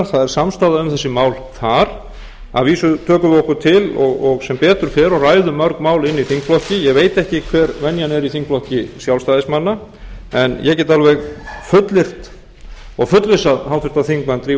það er samstaða um þessi mál þar að vísu tökum við okkur til og sem betur fer og ræðum mörg mál inni í þingflokki ég veit ekki hver venjan er í þingflokki sjálfstæðismanna en ég get alveg fullyrt og fullvissað háttvirtur þingmaður drífu